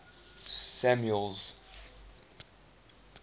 samuel's